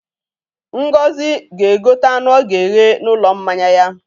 Ngozi ga-egote anụ ọ ga-eghe n'ụlọ mmanya ya.